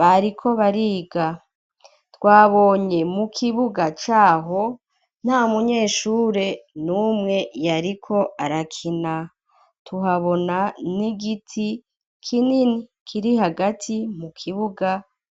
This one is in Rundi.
bariko bariga twabonye mu kibuga caho nta munye eshure niumwe yariko arakina tuhabona nigiti kinini kiri hagati mu kibuga.